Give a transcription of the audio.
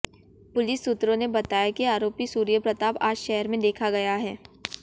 police सूत्रों ने बताया कि आरोपी सूर्य प्रताप आज शहर में देखा गया है